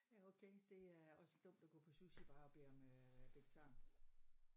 Ja okay det er også dumt at gå på sushibar og bede om øh vegetar